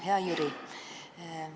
Hea Jüri!